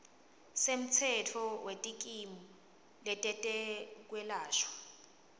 semtsetfo wetikimu tetekwelashwa